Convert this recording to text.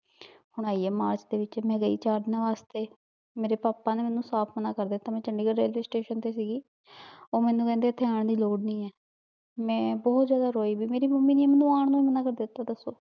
ਹਨ ਆਈ ਆਯ ਮਾਰਚ ਦੇ ਵਿਚ ਮੈਂ ਗਈ ਚਾਰ ਦਿਨਾਂ ਵਾਸਤੇ ਮੇਰੇ ਪਾਪਾ ਨੇ ਮੇਨੂ ਸਾਫ਼ ਮਨਾ ਕਰ ਦਿਤਾ ਮੈਂ ਚੰਡੀਗੜ੍ਹ railway station ਤੇ ਸੀਗੀ ਊ ਮੇਨੂ ਕਹਿੰਦੇ ਏਥੇ ਆਂ ਦੀ ਲੋਰ ਨਹੀ ਆ ਮੈਂ ਬੋਹਤ ਜ਼੍ਯਾਦਾ ਰੋਈ ਵੀ ਮੇਰੀ ਮੱਮੀ ਮੇਨੂ ਆਂ ਤੋਂ ਮਨਾ ਕਰ ਦਿਤਾ ਦਸੋ